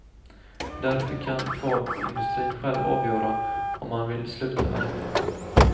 Därför kan kvarnindustrin själv avgöra om man vill sluta med detta.